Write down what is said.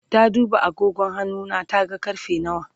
ta duba agogon hannuna ta ga karfe nawa